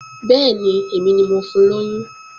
Bẹ́ẹ̀ni, èmi ni mo fun lóyún